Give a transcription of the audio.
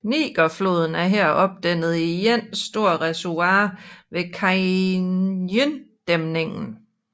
Nigerfloden er her opdæmmet i et stort reservoir ved Kainjidæmningen